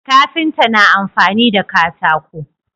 Kafinta na amfani da katako